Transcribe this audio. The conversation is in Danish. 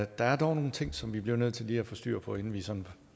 der er dog nogle ting som vi bliver nødt til lige at få styr på inden vi sådan